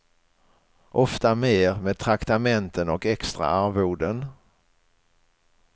Ofta mer, med traktamenten och extra arvoden.